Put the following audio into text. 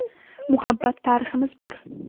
Muhabbat tariximiz bor.